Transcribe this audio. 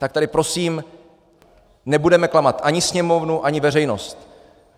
Tak tady prosím nebudeme klamat ani Sněmovnu, ani veřejnost.